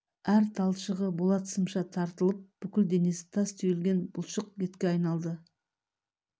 әр талшығы болат сымша тартылып бүкіл денесі тас түйілген бұлшық етке айналды